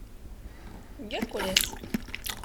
геркулес